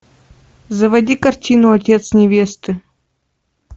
заводи картину отец невесты